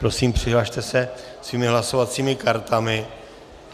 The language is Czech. Prosím, přihlaste se svými hlasovacími kartami.